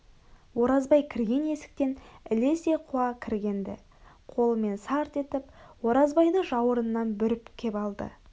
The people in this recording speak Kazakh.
оразбай кірген есіктен ілесе қуа кірген-ді қолымен сарт етіп оразбайды жауырынынан бүріп кеп алды